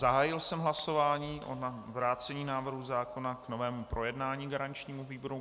Zahájil jsem hlasování o vrácení návrhu zákona k novému projednání garančnímu výboru.